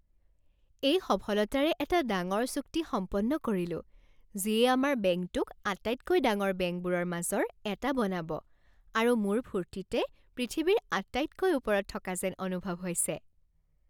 মই সফলতাৰে এটা ডাঙৰ চুক্তি সম্পন্ন কৰিলো যিয়ে আমাৰ বেংকটোক আটাইতকৈ ডাঙৰ বেংকবোৰৰ মাজৰ এটা বনাব আৰু মোৰ ফূৰ্তিতে পৃথিৱীৰ আটাইতকৈ ওপৰত থকা যেন অনুভৱ হৈছে।